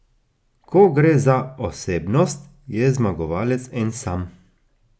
Ko gre za osebnost, je zmagovalec en sam.